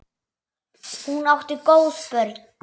Hún átti góð börn.